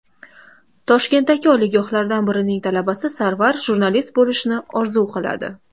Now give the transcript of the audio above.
Toshkentdagi oliygohlardan birining talabasi Sarvar jurnalist bo‘lishni orzu qiladi.